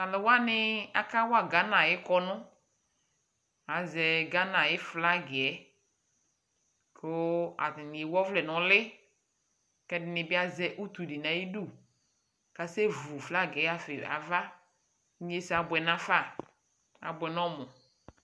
Tʋ alʋ wanɩ akawa Gana ayʋ kɔnʋ Azɛ Gana ayʋ flag yɛ kʋ atanɩ ewu ɔvlɛ nʋ ʋlɩ kʋ ɛdɩnɩ bɩ azɛ utu dɩ nʋ ayidu kʋ asɛvu flag yɛ ɣafa ɩ ava Inyesɛ abʋɛ nafa Abʋɛ nʋ ɔmʋ